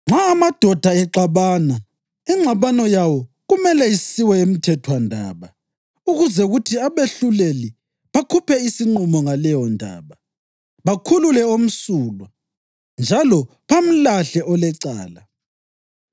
“Nxa amadoda exabana, ingxabano yawo kumele isiwe emthethwandaba ukuze kuthi abehluleli bakhuphe isinqumo ngaleyondaba, bakhulule omsulwa njalo bamlahle olecala.